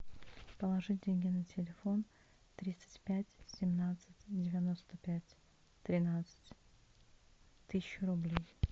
положить деньги на телефон тридцать пять семнадцать девяносто пять тринадцать тысячу рублей